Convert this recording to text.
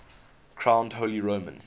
crowned holy roman